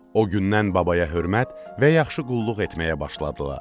O gündən babaya hörmət və yaxşı qulluq etməyə başladılar.